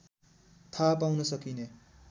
थाहा पाउन सकिने